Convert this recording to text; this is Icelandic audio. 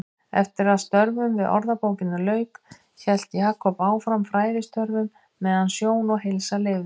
Eftir að störfum við Orðabókina lauk hélt Jakob áfram fræðistörfum meðan sjón og heilsa leyfði.